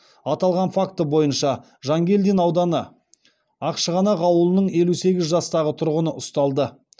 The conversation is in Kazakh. аталған факті бойынша жангелдин ауданы ақшығанақ ауылының елу сегіз жастағы тұрғыны ұсталды